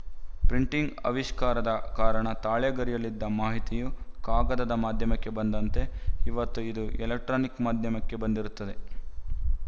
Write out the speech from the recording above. printing ಆವಿಷ್ಕಾರದ ಕಾರಣ ತಾಳೆಗರಿಯಲ್ಲಿದ್ದ ಮಾಹಿತಿಯು ಕಾಗದದ ಮಾಧ್ಯಮಕ್ಕೆ ಬಂದಂತೆ ಇವತ್ತು ಇದು ಎಲೆಕ್ಟ್ರಾನಿಕ್ ಮಾಧ್ಯಮಕ್ಕೆ ಬಂದಿರುತ್ತದೆ